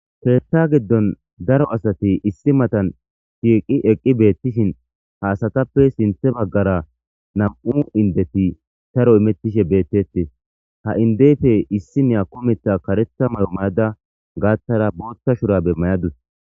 Keetha gidon daro asati issi matan shiiqi eqqi beetishin ha asatappe sinthe baggara nam'u indeti saro imetishe beetetes ha indepe issiniya kumetha karetha mayo mayada gaathara bootha shurabe mayadus.